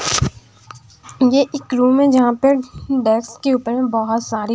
यह एक रूम हैजहां पर डेक्स के ऊपर में बहुत सारे--